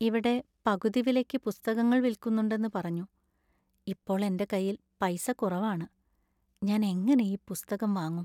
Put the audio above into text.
ഇവിടെ പകുതി വിലയ്ക്ക് പുസ്തകങ്ങൾ വില്ക്കു‍ന്നുണ്ടെന്നു പറഞ്ഞു. ഇപ്പോൾ എന്‍റെ കൈയിൽ പൈസ കുറവാണ്, ഞാൻ എങ്ങനെ ഈ പുസ്തകം വാങ്ങും ?